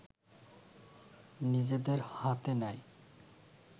নিজেদের হাতে নেয়